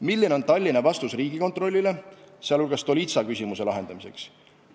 Milline on Tallinna vastus Riigikontrollile, sh Stolitsa küsimuse lahendamiseks?